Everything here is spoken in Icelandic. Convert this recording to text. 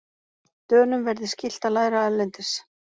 Dönum verði skylt að læra erlendis